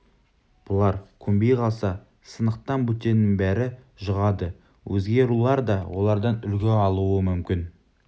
бұлар көнбей қалса сынықтан бөтеннің бәрі жұғады өзге рулар да олардан үлгі алуы мүмкін